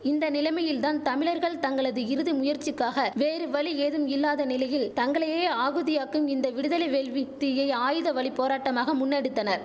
இந்த நிலைமையில்தான் தமிழர்கள் தங்களது இறுதி முயற்சிக்காக வேறு வழி ஏதும் இல்லாத நிலையில் தங்களையே ஆகுதியாக்கும் இந்த விடுதலை வேள்வி தீயை ஆயுத வழி போராட்டமாக முன்னெடுத்தனர்